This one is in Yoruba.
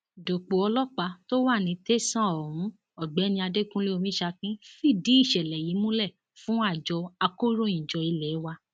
dòpò ọlọpàá tó wà ní tẹsán ohun ọgbẹni adẹkùnlé omisakin fìdí ìṣẹlẹ yìí múlẹ fún àjọ akọròyìnjọ ilé wa